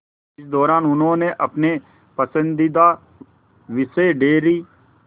इस दौरान उन्होंने अपने पसंदीदा विषय डेयरी